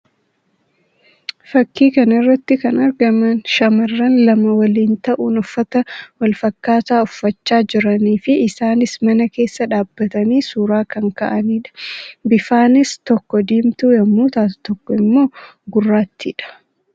Fakkii kana irratti kan argaman shamarran lamaan waliin ta'uun uffata walfakkaataa uffachaa jiranii fi isaannis mana keessa dhaabbatanii suuraa kan ka'anii dha. Bifaanis tokko diimtuu yammuu ta'u tokko immoo gurraattii dha.